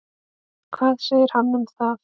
Hvað segir hann um það?